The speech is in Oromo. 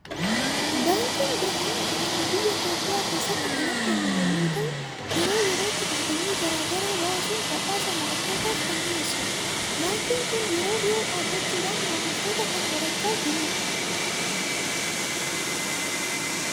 Baankiin Birhaan jedhamu biyya Itoophiyaa keessatti kan argamu yommuu ta'u, yeroo yerootti dorgommii garaa garaa baasuun badhaasa moo'attootaaf kan dhiyeessudha. Baankiin kun yeroo dhiyoo dhaabachuudhan maamiltoota kan horachaa jiru dha.